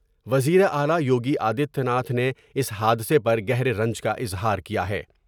وزیراعلی یوگی آدتیہ ناتھ نے اس حادثے پر گہرے رنج کا اظہار کیا ہے ۔